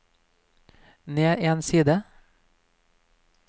ned en side